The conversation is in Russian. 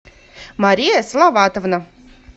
мария салаватовна